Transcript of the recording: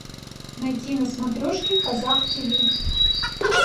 найти на смотрешке казах тв